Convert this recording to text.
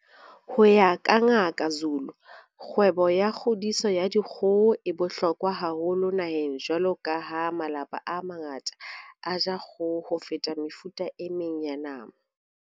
Ho ya ka Ngaka Zulu, kgwebo ya kgodiso ya dikgoho e bohlokwa haholo naheng jwalo ka ha malapa a mangata a ja kgoho ho feta mefuta e meng ya nama.